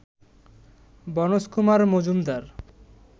বনজ কুমার মজুমদার